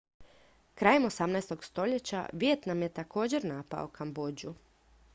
krajem 18. stoljeća vijetnam je također napao kambodžu